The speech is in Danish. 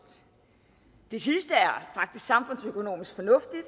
det sidste er faktisk samfundsøkonomisk fornuftigt